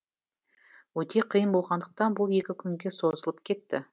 өте қиын болғандықтан бұл екі күнге созылып кетті